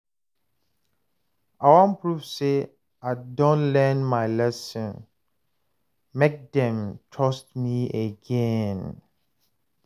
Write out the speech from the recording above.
I wan prove sey I don learn my lesson, make dem trust me again.